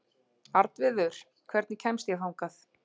Arnviður, hvernig kemst ég þangað?